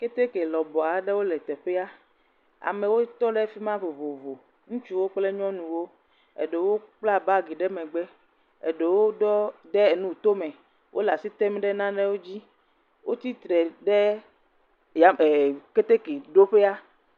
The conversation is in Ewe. Keteke lɔbɔ aɖewo le teƒea. Amewo tɔ ɖe fima vovovo, ŋutsuwo kple nyɔnuwo, aɖewo kpla bagi ɖe megbe, eɖe ɖo enu eto me, wole asi ɖɔm ɖe nane dzi. Woatsi tre ɖe tame, e Keteke ɖo ƒea.